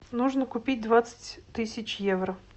нужно купить двадцать тысяч евро